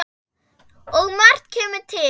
Og margt kemur til.